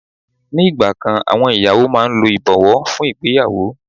Ni ìgbà kan àwọn ìyàwó máa ń lo ìbọ̀wọ́ fún ìgbéyàwó.